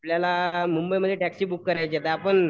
आपल्याला मुंबईमध्ये taxi book करायची आहे तर आपण